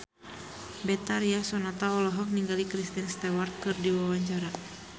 Betharia Sonata olohok ningali Kristen Stewart keur diwawancara